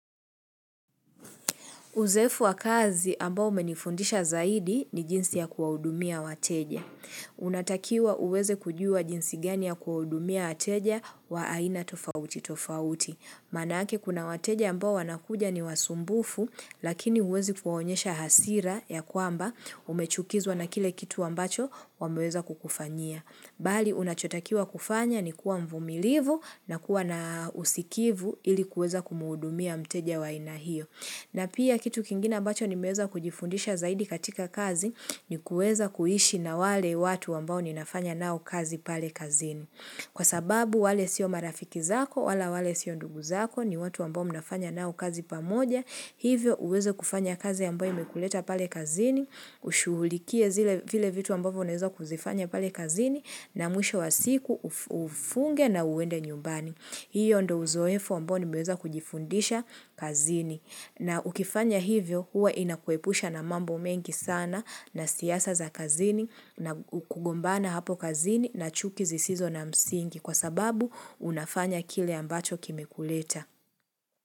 Uzoefu wa kazi ambao umenifundisha zaidi ni jinsi ya kuwahudumia wateja. Unatakiwa uweze kujua jinsi gani ya kuwahudumia wateja wa aina tofauti tofauti. Maanake kuna wateja ambao wanakuja ni wasumbufu, lakini huwezi kuwaonyesha hasira ya kwamba umechukizwa na kile kitu ambacho wameweza kukufanyia. Bali unachotakiwa kufanya ni kuwa mvumilivu na kuwa na usikivu ili kuweza kumuhudumia mteja wa aina hio. Na pia kitu kingine ambacho nimeweza kujifundisha zaidi katika kazi ni kuweza kuishi na wale watu ambao ninafanya nao kazi pale kazini. Kwa sababu wale sio marafiki zako, wala wale siyo ndugu zako ni watu ambao mnafanya nao kazi pamoja, hivyo uweze kufanya kazi ambayo imekuleta pale kazini, ushughulikie zile vile vitu ambavyo unaweza kuzifanya pale kazini na mwisho wa siku ufunge na uende nyumbani. Hio ndio uzoefu ambao nimeweza kujifundisha kazini. Na ukifanya hivyo, huwa inakuepusha na mambo mengi sana na siasa za kazini na kugombana hapo kazini na chuki zisizo na msingi kwa sababu unafanya kile ambacho kimekuleta.